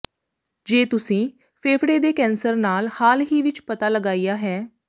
ਜੇ ਤੁਸੀਂ ਫੇਫੜੇ ਦੇ ਕੈਂਸਰ ਨਾਲ ਹਾਲ ਹੀ ਵਿਚ ਪਤਾ ਲਗਾਇਆ ਹੈ